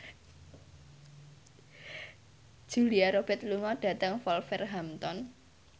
Julia Robert lunga dhateng Wolverhampton